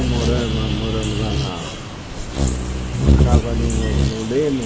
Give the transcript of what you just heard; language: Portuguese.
Moramos lá moramos lá na numa casa ali no no Leme.